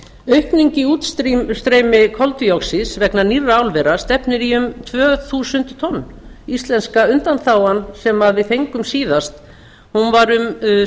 aukning í útstreymi koldíoxíðs vegna nýrra álvera stefnir í um tvö þúsund tonn íslenska undanþágan sem við fengum síðast var um